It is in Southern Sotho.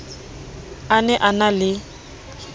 a ne a na le